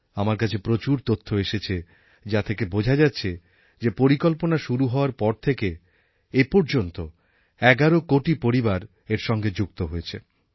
আমার কাছে প্রচুর তথ্য এসেছে যা থেকে বোঝা যাচ্ছে যে পরিকল্পনা শুরু হওয়ার পর থেকে এপর্যন্ত এগারো কোটি পরিবার এর সঙ্গে যুক্ত হয়েছে